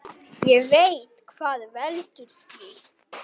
Ég veit hvað veldur því.